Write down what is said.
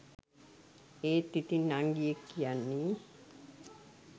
ඒත් ඉතින් නංගියෙක් කියන්නේ